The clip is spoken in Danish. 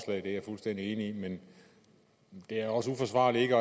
det er jeg fuldstændig enig i men det er også uforsvarligt ikke